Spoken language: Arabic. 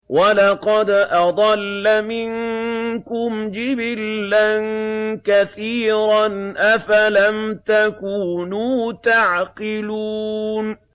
وَلَقَدْ أَضَلَّ مِنكُمْ جِبِلًّا كَثِيرًا ۖ أَفَلَمْ تَكُونُوا تَعْقِلُونَ